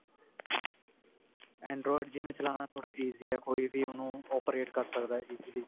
android ਜਿਵੇਂ ਚਲਾਉਣਾ ਥੋੜਾ easy ਹੈ ਕੋਈ ਵੀ ਉਹਨੂੰ operate ਕਰ ਸਕਦਾ easily